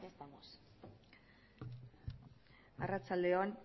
arratsalde on